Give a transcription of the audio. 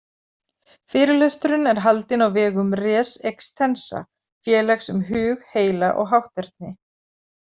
Fyrirlesturinn er haldinn á vegum Res Extensa, félags um hug, heila og hátterni.